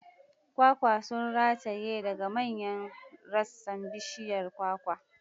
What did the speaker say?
Kwakwa sun rataye daga manyan rassan bishiyar kwakwa.